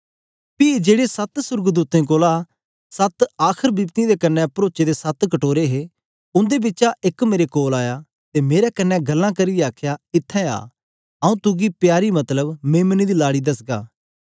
पी जेड़े सत्त सोर्गदूतें कोल सत्त आखर बिपतियें कन्ने परोचे दे सत्त कटोरे हे उंदे बिचा एक मेरे कोल आया ते मेरे कन्ने गल्लां करियै आखया इत्थैं आ आऊँ तुगी प्यारी मतलब मेम्ने दी लाड़ी दसगा